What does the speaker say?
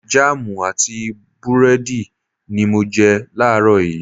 Jáàmù àti búrẹ́dì ni mo jẹ láàrọ̀ yìí